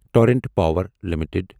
Torrent Power limited